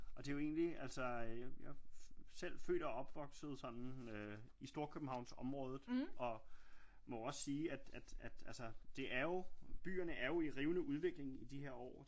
Og det er jo egentlig altså øh jeg er selv født og opvosket sådan øh i Storkøbenhavnsområdet og må også sige at altså det er jo byerne er jo i rivende udvikling i de her år